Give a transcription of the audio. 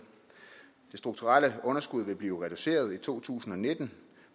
det strukturelle underskud vil blive reduceret i to tusind og nitten